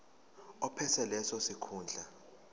ophethe leso sikhundla